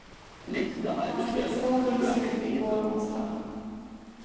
Hans tillstånd drogs in i går onsdag.